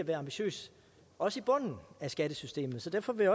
være ambitiøs også i bunden af skattesystemet så derfor vil